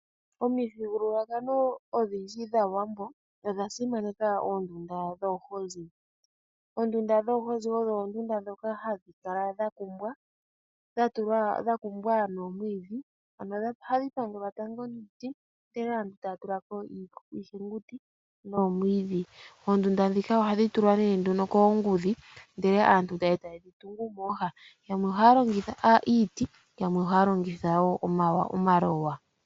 Omuthigululwakalo odhindji dhaawambo odha simaneka oondunda dhoohozi, oondunda dhoohozi odho ondunda dhoka hadhi kala dhakumbwa, dhakumbwa noomwiidhi ano ohadhi pangelwa tango niiti ndele aantu taya tulako iihenguti nomwiidhi. Oondunda dhika ohadhi tulwa ne nduno koongudhi ndele aantu taye dhi tungu mooha yamwe ohaya longitha iiti yamwe ohaya longitha omaloya.